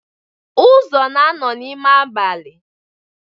Uzo na-anọ n'ime abalị.